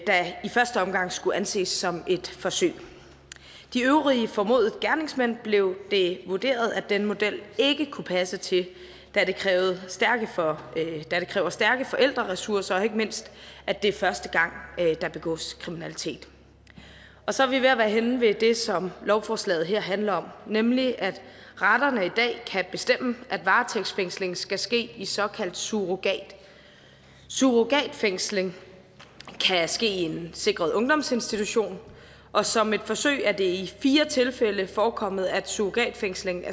der i første omgang skulle anses som et forsøg de øvrige formodede gerningsmænd blev det vurderet at den model ikke kunne passe til da det kræver stærke forældreressourcer og ikke mindst at det er første gang der begås kriminalitet og så er vi ved at være henne ved det som lovforslaget her handler om nemlig at retterne i dag kan bestemme at varetægtsfængslingen skal ske i såkaldt surrogat surrogatfængsling kan ske i en sikret ungdomsinstitution og som et forsøg er det i fire tilfælde forekommet at surrogatfængsling